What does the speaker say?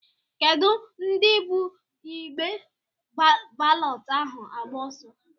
Kedụ ndị bụ igbe balọtụ ahụ agba ọsọ?